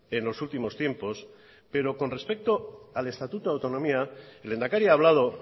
en los últimos tiempos pero con respecto al estatuto de autonomía el lehendakari ha hablado